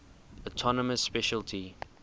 autonomous specialty